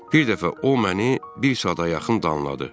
Bir dəfə o məni bir saata yaxın danladı.